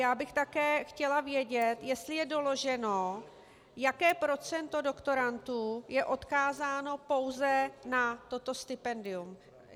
Já bych také chtěla vědět, jestli je doloženo, jaké procento doktorandů je odkázáno pouze na toto stipendium.